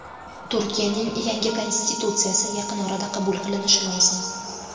Turkiyaning yangi konstitutsiyasi yaqin orada qabul qilinishi lozim.